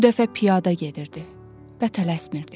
Bu dəfə piyada gedirdi və tələsmirdi.